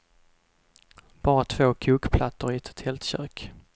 Bara två kokplattor i ett tältkök.